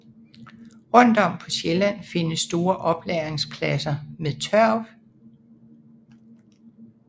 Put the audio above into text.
Rundt om på Sjælland findes store oplagringspladser med tørv